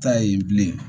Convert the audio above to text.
Ta ye bilen